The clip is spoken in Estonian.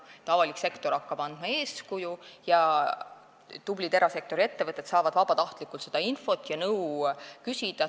Avalik sektor hakkab andma eeskuju ja tublid erasektori ettevõtted saavad vabatahtlikult seda infot ja nõu küsida.